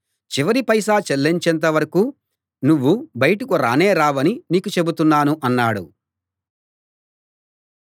చివరి పైసా చెల్లించేంత వరకూ నువ్వు బయటకు రానే రావని నీకు చెబుతున్నాను అన్నాడు